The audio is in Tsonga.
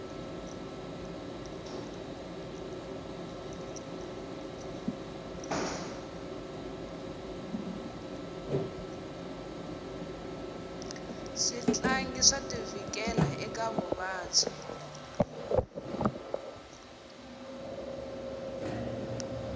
switlangi swa ti vhikela eka vuvabyi